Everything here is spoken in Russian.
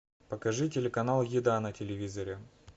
покажи телеканал еда на телевизоре